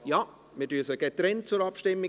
– Ja, wir bringen sie getrennt zur Abstimmung.